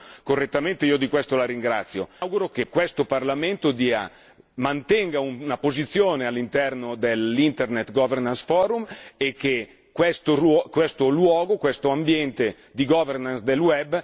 Mi auguro che questo Parlamento mantenga una posizione all'interno dell'Internet governance forum e che questo luogo, questo ambiente di governance del web mantenga il suo ruolo nel tempo.